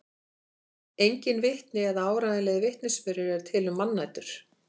Engin vitni eða áreiðanlegir vitnisburðir eru til um mannætur.